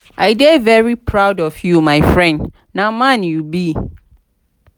i dey very proud of you my friend na man you be.